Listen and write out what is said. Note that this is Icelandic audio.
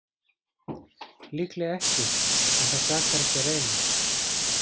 Líklega ekki, en það sakar ekki að reyna.